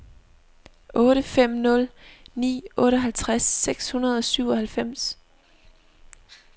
otte fem nul ni otteoghalvtreds seks hundrede og syvoghalvfems